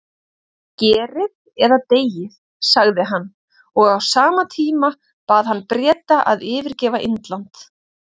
Gerið eða deyið, sagði hann, og á sama tíma bað hann Breta að yfirgefa Indland.